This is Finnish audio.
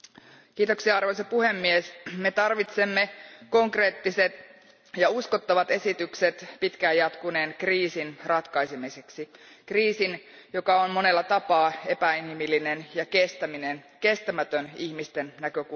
Arvoisa puhemies, me tarvitsemme konkreettiset ja uskottavat esitykset pitkään jatkuneen kriisin ratkaisemiseksi, kriisin, joka on monella tapaa epäinhimillinen ja kestämätön ihmisten näkökulmasta.